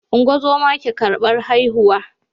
Ungozama ke karbar haihu